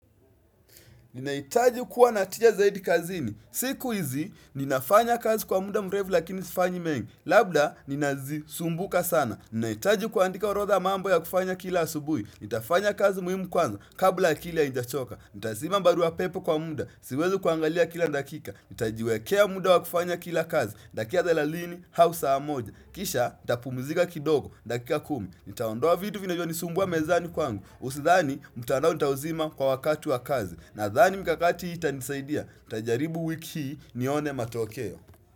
Ninahitaji kuwa na tija zaidi kazini. Siku hizi, ninafanya kazi kwa muda mrefu lakini sifanyi mengi. Labda ninazisumbuka sana. Ninahitaji kuandika orodha ya mambo ya kufanya kila asubuhi. Nitafanya kazi muhimu kwanza, kabla akili haijachoka. Nitazima barua pepe kwa muda, siwezi kuangalia kila dakika,. Nitajiwekea muda wa kufanya kila kazi, dakika thelathini, au saa moja Kisha, nitapumizika kidogo, dakika kumi. Nitaondoa vitu vinavyonisumbua mezani kwangu. Usidhani, mtandao nitauzima kwa wakati wa kazi. Nadhani mikakati hii itanisaidia, nitajaribu wiki hii nione matokeo.